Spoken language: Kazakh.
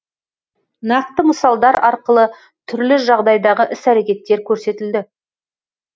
нақты мысалдар арқылы түрлі жағдайдағы іс әрекеттер көрсетілді